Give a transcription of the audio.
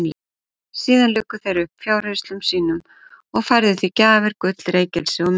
Síðan luku þeir upp fjárhirslum sínum og færðu því gjafir, gull, reykelsi og myrru.